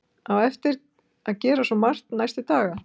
Á eftir að gera svo margt næstu daga.